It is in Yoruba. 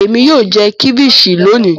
Èmi yóò jẹ ceviche lónì.